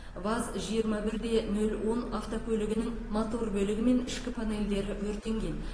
ваз жиырма бірде нөл он автокөлігінің мотор бөлігі мен ішкі панельдері өртенген